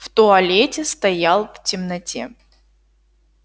в туалете стоял в темноте